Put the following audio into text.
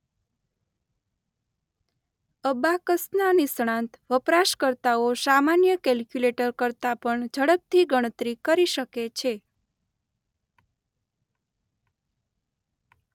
અબાકસનાં નિષ્ણાત વપરાશકર્તાઓ સામાન્ય કેલ્ક્યુલેટર કરતાં પણ ઝડપથી ગણતરી કરી શકે છે.